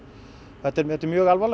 þetta er mjög alvarlegt